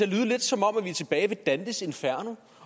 lyde lidt som om vi er tilbage ved dantes inferno